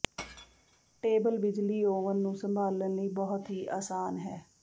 table ਬਿਜਲੀ oven ਨੂੰ ਸੰਭਾਲਣ ਲਈ ਬਹੁਤ ਹੀ ਆਸਾਨ ਹੈ